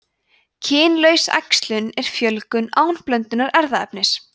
kynlaus æxlun er fjölgun án blöndunar erfðaefnis